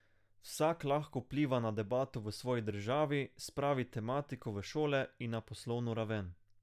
Vsak lahko vpliva na debato v svoji državi, spravi tematiko v šole in na poslovno raven.